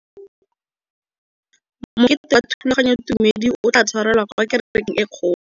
Mokete wa thulaganyôtumêdi o tla tshwarelwa kwa kerekeng e kgolo.